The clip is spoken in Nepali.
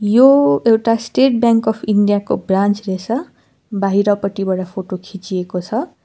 यो एउटा स्टेट बैंक अफ इन्डिया को ब्रान्च रहेछ बाहिरपटिबर फोटो खिचिएको छ।